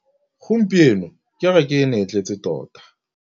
Gompieno kêrêkê e ne e tletse tota.